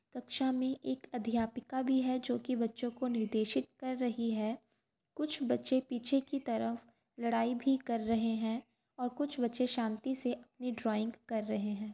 कक्षा में एक अध्यापिका भी है जोकि बच्चों को निर्देशित कर रही है। कुछ बच्चे पीछे क तरफ लड़ाई भी कर रहे है और कुछ बच्चे शांति से अपनी ड्राइंग कर रहै है।